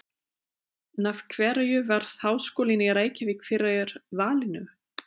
En af hverju varð Háskólinn í Reykjavík fyrir valinu?